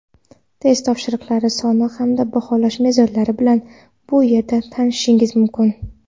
test topshiriqlari soni hamda baholash mezonlari bilan bu yerda tanishishingiz mumkin.